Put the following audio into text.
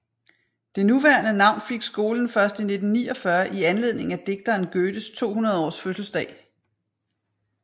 Det nuværende navn fik skolen først i 1949 i anledning af digteren Goethes 200 års fødselsdag